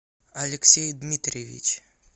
алексей дмитриевич